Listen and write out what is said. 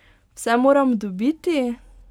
Vse moram dobiti!